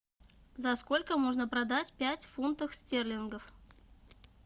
за сколько можно продать пять фунтов стерлингов